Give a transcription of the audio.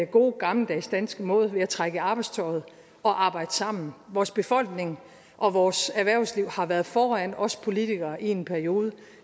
gode gammeldags danske måde altså ved at trække i arbejdstøjet og arbejde sammen vores befolkning og vores erhvervsliv har været foran os politikere i en periode